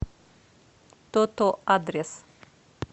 то то адрес